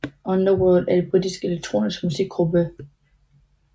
Underworld er et britisk elektronisk musikgruppe